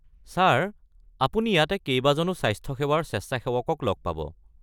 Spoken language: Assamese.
ছাৰ আপুনি ইয়াতে কেইবাজনো স্বাস্থ্য সেৱাৰ স্বেচ্ছাসেৱকক লগ পাব।